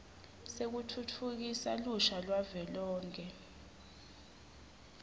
sekutfutfukisa lusha lwavelonkhe